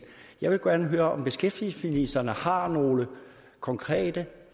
jeg vil gerne høre om beskæftigelsesministeren har nogle konkrete